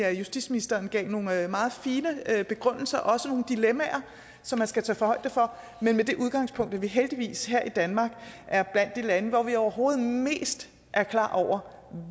at justitsministeren gav nogle meget fine begrundelser og også tegnede nogle dilemmaer som man skal tage højde for men med det udgangspunkt at vi heldigvis her i danmark er blandt de lande hvor vi overhovedet mest er klar over